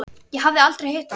Ég hafði aldrei hitt hann.